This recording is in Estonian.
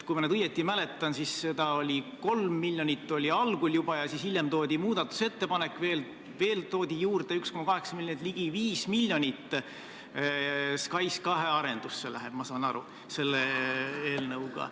Kui ma nüüd õigesti mäletan, siis seda oli juba algul 3 miljonit ja siis hiljem tehti muudatusettepanek, millega toodi veel juurde 1,8 miljonit, seega, nagu ma aru saan, läheb ligi 5 miljonit SKAIS2 arendusse.